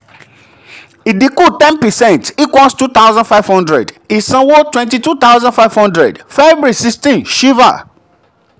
ìdínkù 10 percent = 2500; ìsanwó 22500. feb 16 shiva.